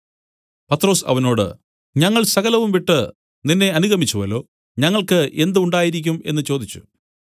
പത്രൊസ് അവനോട് ഞങ്ങൾ സകലവും വിട്ടു നിന്നെ അനുഗമിച്ചുവല്ലോ ഞങ്ങൾക്കു എന്ത് ഉണ്ടായിരിക്കും എന്നു ചോദിച്ചു